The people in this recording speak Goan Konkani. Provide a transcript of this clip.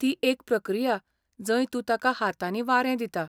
ती एक प्रक्रिया जंय तूं ताका हातांनी वारें दिता.